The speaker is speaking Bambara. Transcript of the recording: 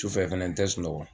Tufɛ fɛnɛ n tɛ sunɔgɔ.